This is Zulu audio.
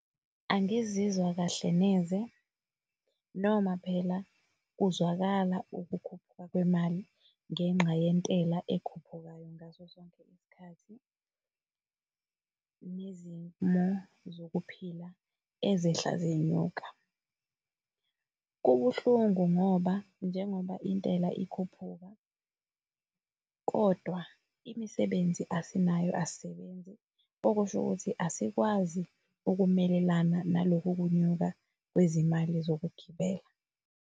Angizizwa kahle neze, noma phela kuzwakala ukukhuphuka kwemali ngenxa yentela ekhuphukayo ngaso sonke isikhathi nezimo zokuphila ezehla zenyuka. Kubuhlungu ngoba njengoba intela ikhuphuka, kodwa imisebenzi asinayo asisebenzi, okusho ukuthi asikwazi ukumelelana nalokhu kunyuka kwezimali zokugibela.